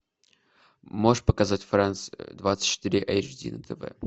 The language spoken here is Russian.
можешь показать франс двадцать четыре эйч ди на тв